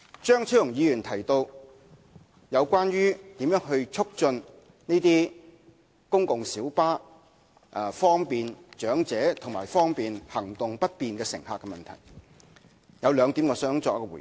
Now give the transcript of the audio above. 張超雄議員提到應如何推動公共小巴方便長者和行動不便乘客使用的問題，我想就兩點作出回應。